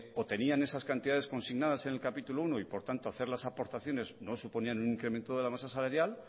o tenían esas cantidades consignadas en el capítulo primero y por tanto hacer las aportaciones no suponían un incremento de la masa salarial